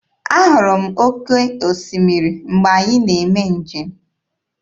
Ahụrụ m oke osimiri mgbe anyị na-eme njem.